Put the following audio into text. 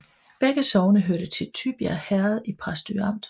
Begge sogne hørte til Tybjerg Herred i Præstø Amt